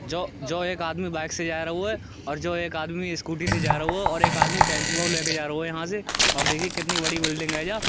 जो-जो एक आदमी बाइक से जा रहू है और एक आदमी स्कूटी जा रहू है और एक आदमी टेम्पूऔ लेके जा रहो है यहाँ से और देखिए कितनी बड़ी बिल्डिग है जा।